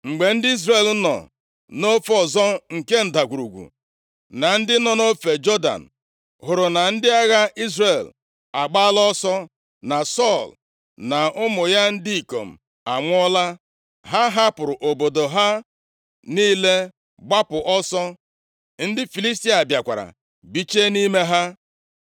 Mgbe ndị Izrel nọ nʼofe ọzọ nke ndagwurugwu, na ndị nọ nʼofe Jọdan, hụrụ na ndị agha Izrel agbaala ọsọ, na Sọl na ụmụ ya ndị ikom anwụọla, ha hapụrụ obodo ha niile gbapụ ọsọ. Ndị Filistia bịakwara bichie nʼime ha.